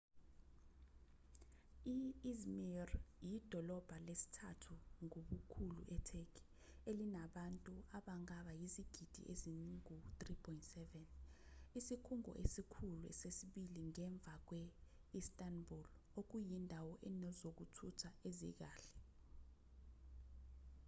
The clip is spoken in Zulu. i-i̇zmir iyidolobha lesithathu ngobukhulu e-turkey elinabantu abangaba izigidi ezingu-3.7 isikhungo esikhulu sesibili ngemva kwe –istanbul okuyindawo enezokuthutha ezikahle